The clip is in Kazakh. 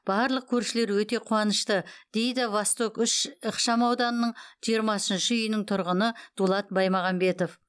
барлық көршілер өте қуанышты дейді восток үш ықшамауданының жиырмасыншы үйінің тұрғыны дулат баймағамбетов